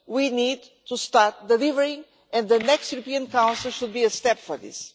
we need to start delivering, and the next European council should be a step for this.